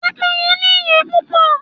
Pẹ́pẹ́yẹ́ ní ìyẹ́ púpọ̀.